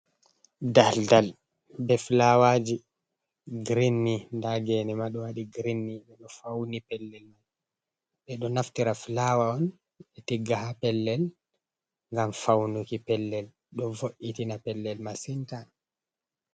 Daldal be fulawaji girin nda gene ma ɗo waɗi girin. Ɓeɗo fauni pellel mai, ɓeɗo naftira fulawa on ɓe tigga ha pellel ngam faunuki pellel, do vo’itina pellel masin ta.